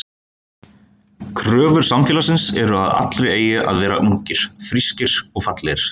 Kröfur samfélagsins eru að allir eigi að vera ungir, frískir og fallegir.